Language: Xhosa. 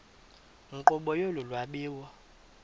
nkqubo yolu lwabiwo